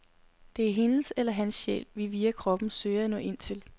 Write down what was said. Det er hendes eller hans sjæl, vi via kroppen søger at nå ind til.